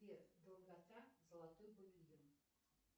сбер долгота золотой